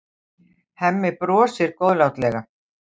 Hemmi brosir góðlátlega.